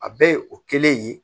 A bɛɛ ye o kelen ye